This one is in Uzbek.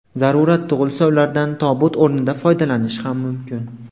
Zarurat tug‘ilsa, ulardan tobut o‘rnida foydalanish ham mumkin.